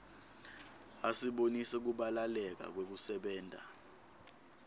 asibonisa kubalaleka kwekusebenta